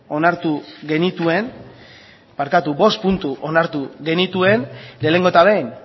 onartu genituen barkatu bost puntu onartu genituen lehenengo eta behin